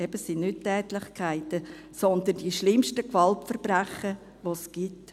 Eben, es sind nicht Tätlichkeiten, sondern die schlimmsten Gewaltverbrechen, die es gibt.